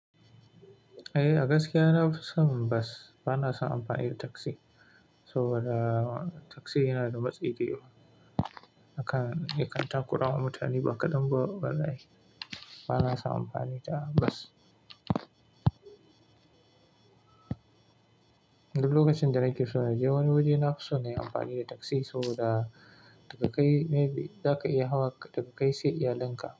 Eh, a gaskiya na fi son bus, bana son amfani da taxi. Sobada taxi yana da matsi da yawa. Hakan, ya ka tarakurama mutani ba kadan ba, ya za'a yi. Bana son amfani da bus. Duk lokaci da nake so na je wani wuri na fi son na yi amfani da taxi sobada, daga kai maybe, za ka iya hawa daga kai sai iyalinka.